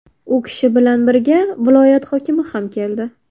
U kishi bilan birga viloyat hokimi ham keldi.